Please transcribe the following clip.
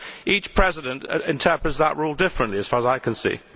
Each President interprets that rule differently as far as I can see.